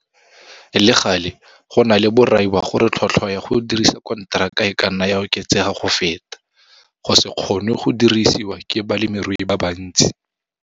Le gale, go na le borai ba gore tlhotlhwa ya go dirisa konteraka e ka nna ya oketsega go feta go se kgonwe go dirisiwa ke balemirui ba bantsi.